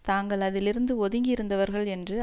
தாங்கள் அதில் இருந்து ஒதுங்கி இருந்தவர்கள் என்று